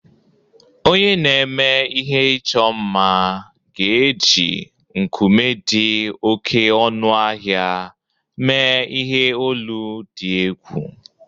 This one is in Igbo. Onye na-eme ihe ịchọ mma ga-eji nkume dị oké ọnụ ahịa mee ihe olu dị egwu.